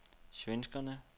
svenskerne